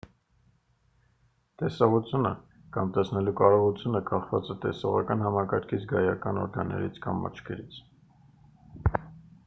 տեսողությունը կամ տեսնելու կարողությունը կախված է տեսողական համակարգի զգայական օրգաններից կամ աչքերից